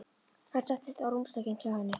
Hann settist á rúmstokkinn hjá henni.